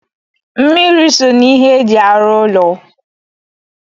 Mmiri so n'ihe e ji arụ ụlọ